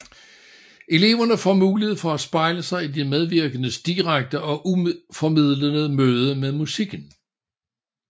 Eleverne får mulighed for at spejle sig i de medvirkendes direkte og uformidlede møde med musikken